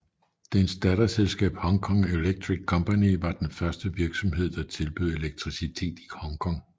Dens datterselskab Hongkong Electric Company var den første virksomhed der tilbød elektricitet i Hongkong